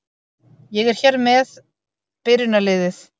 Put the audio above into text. Ég er hér með byrjunarliðið.